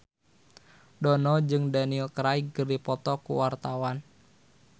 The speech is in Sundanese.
Dono jeung Daniel Craig keur dipoto ku wartawan